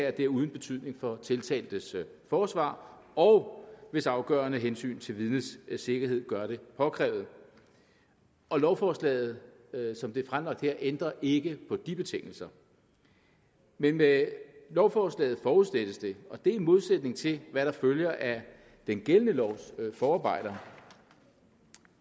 at det er uden betydning for tiltaltes forsvar og hvis afgørende hensyn til vidnets sikkerhed gør det påkrævet og lovforslaget som det er fremsat her ændrer ikke på de betingelser men med lovforslaget forudsættes det og det er i modsætning til hvad der følger af den gældende lovs forarbejder